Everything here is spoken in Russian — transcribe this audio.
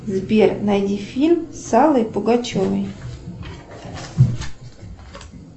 сбер найди фильм с аллой пугачевой